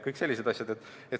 Kõik sellised asjad.